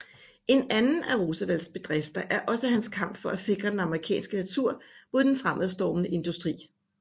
En anden af Roosevelts bedrifter er også hans kamp for at sikre den amerikanske natur mod den fremadstormende industri